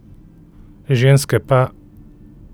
Ženske pa ...